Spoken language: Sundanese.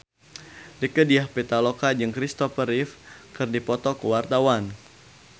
Rieke Diah Pitaloka jeung Christopher Reeve keur dipoto ku wartawan